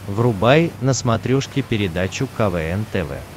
врубай на смотрешке передачу квн тв